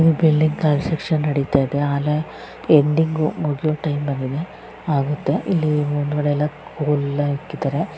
ಈ building construction ನಡಿತಾ ಇದೆ ಆಗಲೇ ಬಿಲ್ಡಿಂಗ್ ಮುಗಿಯುವ ಟೈಮ್ ಬಂದಿದೆ ಇಲ್ಲಿ ಮುಂದ್ಗಡೆ ಎಲ್ಲ ಕೋಲು ಹಾಕಿದ್ದಾರೆ.